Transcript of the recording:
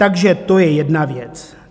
Takže to je jedna věc.